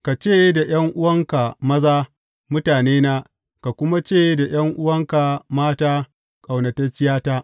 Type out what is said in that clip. Ka ce da ’yan’uwanka maza, Mutanena,’ ka kuma ce da ’yan’uwanka mata, Ƙaunatacciyata.’